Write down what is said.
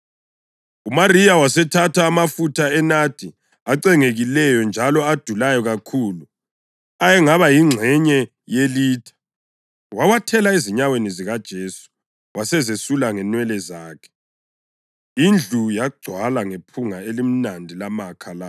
UMariya wasethatha amafutha enadi acengekileyo njalo adulayo kakhulu, ayengaba yingxenye yelitha, wawathela ezinyaweni zikaJesu wasezesula ngenwele zakhe. Indlu yagcwala ngephunga elimnandi lamakha lawo.